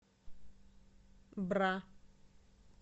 бра